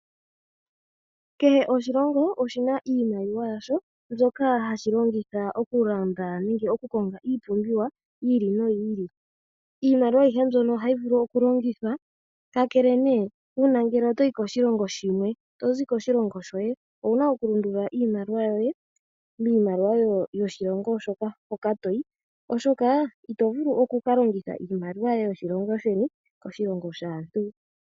Kehe oshilongo oshina iimaliwa yasho mbyoka hashilongitha okulanda nenge oku konga iipumbiwa yili noyili, iimaliwa ayihe mbyono ohayi vulu okulongithwa, kakele ne una ngele otoyi koshilongo shimwe tozi koshilongo shoye owuna oku lundulula iimaliwa yoye miimaliwa yoshilongo shoka toyi oshoka ito vulu oku kalongitha iimaliwa yoshilongo sheni koshilongo shaantu.